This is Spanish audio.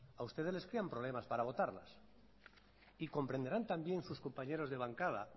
a ustedes les crean problemas para votarlas y comprenderán también sus compañeros de bancada